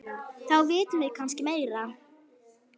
Þá vitum við kannski meira.